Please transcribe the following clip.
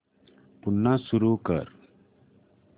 पुन्हा सुरू कर